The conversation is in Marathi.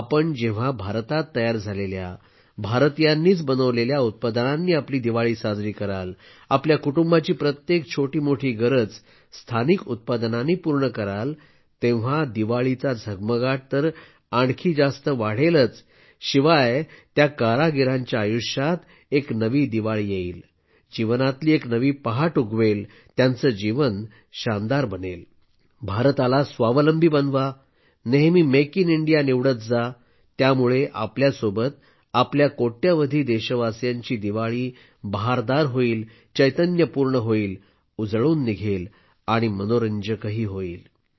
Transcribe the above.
आपण जेव्हा भारतात तयार झालेल्या भारतीयांनीच बनवलेल्या उत्पादनांनी आपली दिवाळी साजरी कराल आपल्या कुटुंबाची प्रत्येक छोटी मोठी गरज स्थानिक उत्पादनानं पूर्ण कराल तेव्हा दिवाळीचा झगमगाट तर आणखी जास्त वाढेलच वाढेल शिवाय त्या कारागिरांच्या आयुष्यात एक नवी दिवाळी येईल जीवनातली एक नवी पहाट उगवेल त्यांचं जीवन शानदार बनेल भारताला स्वावलंबी बनवा नेहमी मेक इन इंडिया निवडत जा यामुळे आपल्या सोबतच आपल्या कोट्यवधी देशवासीयांची दिवाळी बहारदार होईल चैतन्यपूर्ण होईल उजळून निघेल मनोरंजक होईल